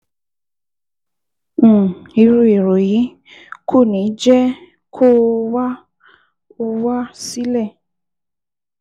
um Irú èrò yìí kò ní jẹ́ kó o wá o wá sílẹ̀